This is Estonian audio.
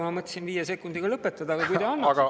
Ma mõtlesin praegu viie sekundiga lõpetada, aga kui te annaksite …